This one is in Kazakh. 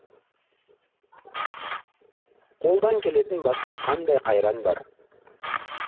қолдан келетін басқа қандай қайран бар